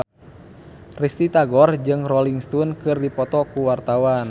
Risty Tagor jeung Rolling Stone keur dipoto ku wartawan